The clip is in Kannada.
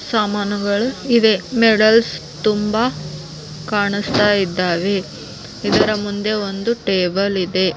ಸಾಮಾನುಗಳು ಇವೆ ಮೇಡಲ್ಸ್ ತುಂಬಾ ಕಾಣಸ್ತಾ ಇದ್ದಾವೆ ಇದರ ಮುಂದೆ ಒಂದು ಟೇಬಲ್ ಇದೆ .